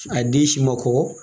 A den si ma kɔkɔ.